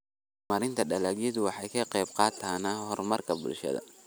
Horumarinta dalagyadu waxay ka qaybqaataan horumarka bulshada.